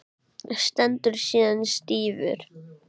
Stendur síðan stífur.